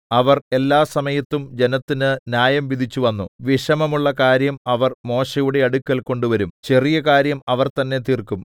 അവർ എല്ലാസമയത്തും ജനത്തിന് ന്യായംവിധിച്ചു വന്നു വിഷമമുള്ള കാര്യം അവർ മോശെയുടെ അടുക്കൽ കൊണ്ടുവരും ചെറിയ കാര്യം അവർ തന്നെ തീർക്കും